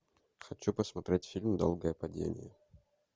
хочу посмотреть фильм долгое падение